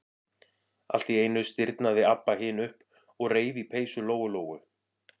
Allt í einu stirðnaði Abba hin upp og reif í peysu Lóu-Lóu.